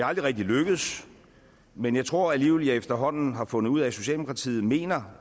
aldrig rigtig lykkedes men jeg tror alligevel jeg efterhånden har fundet ud af at socialdemokratiet mener